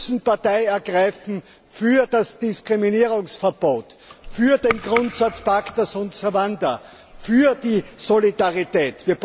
Wir müssen Partei ergreifen für das Diskriminierungsverbot, für den Grundsatz pacta sunt servanda, für die Solidarität.